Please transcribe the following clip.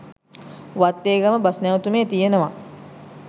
Wattegama bus නැවතුමේ තියෙනවා